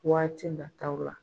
Waati nataw la